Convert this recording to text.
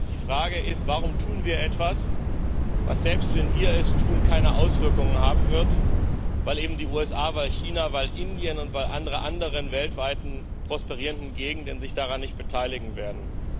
Das heißt, die Frage ist Warum tun wir etwas, was selbst, wenn wir es tun, keine Auswirkungen haben wird, weil eben die USA, weil China, weil Indien und weil alle anderen weltweit prosperierenden Gegenden sich daran nicht beteiligen werden?